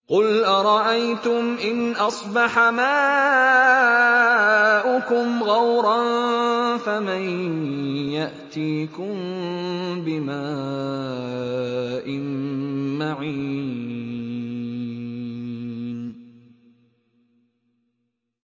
قُلْ أَرَأَيْتُمْ إِنْ أَصْبَحَ مَاؤُكُمْ غَوْرًا فَمَن يَأْتِيكُم بِمَاءٍ مَّعِينٍ